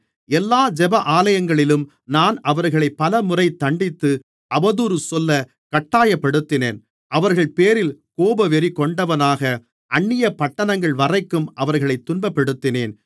எல்லா ஜெபஆலயங்களிலும் நான் அவர்களை பலமுறைத் தண்டித்து அவதூறு சொல்லக் கட்டாயப்படுத்தினேன் அவர்கள் பேரில் கோபவெறிகொண்டவனாக அந்நியப் பட்டணங்கள்வரைக்கும் அவர்களைத் துன்பப்படுத்தினேன்